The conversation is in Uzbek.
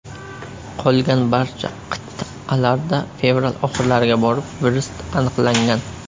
Qolgan barcha qit’alarda fevral oxirlariga borib virus aniqlangan.